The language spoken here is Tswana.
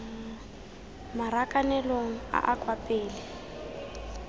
marakanelong a a kwa pele